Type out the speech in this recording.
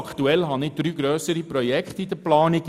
Aktuell habe ich drei grössere Projekte in Planung.